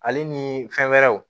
Ale ni fɛn wɛrɛw